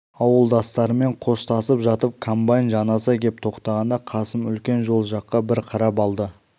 ауылдастарымен қоштасып жатып комбайн жанаса кеп тоқтағанда қасым үлкен жол жаққа бір қарап алды